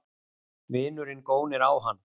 Vinurinn gónir á hann.